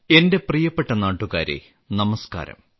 എന്റെ പ്രിയപ്പെട്ട നാട്ടുകാരേ നമസ്ക്കാരം